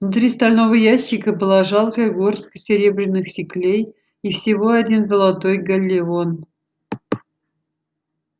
внутри стального ящика была жалкая горстка серебряных сиклей и всего один золотой галлеон